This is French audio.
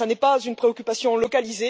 Ce n'est pas une préoccupation locale.